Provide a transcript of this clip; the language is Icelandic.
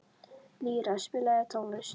Lýra, spilaðu tónlist.